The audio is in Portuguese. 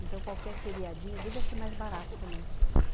Então, qualquer feriadinho, devia ser mais barato também.